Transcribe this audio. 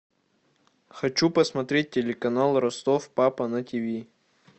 хочу посмотреть телеканал ростов папа на тв